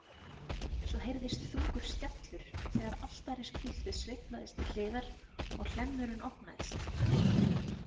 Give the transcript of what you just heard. Svo heyrðist þungur skellur þegar altarispúltið sveiflaðist til hliðar og hlemmurinn opnaðist.